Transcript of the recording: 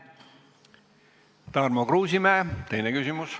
Tarmo Kruusimäe, teine küsimus.